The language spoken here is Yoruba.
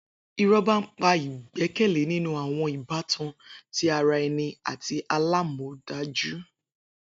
Irọba npa igbẹkẹle ninu awọn ibatan ti ara ẹni ati alamọdaju.